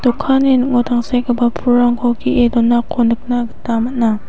dokanni ning·o tangsekgipa pulrangko ge·e donako nikna gita man·a.